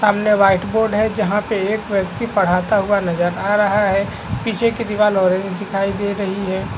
सामने white board है जहां पे एक व्यक्ति पढ़ाता हुआ नज़र आ रहा है पीछे की दीवाल ऑरेंज दिखाई दे रही है।